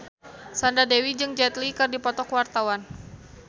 Sandra Dewi jeung Jet Li keur dipoto ku wartawan